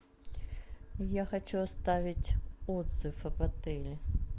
я хочу оставить отзыв об отеле